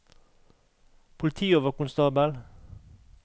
politioverkonstabel